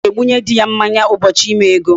Nwaanyị na-egbunye di ya mmanya ụbọchị ime ego.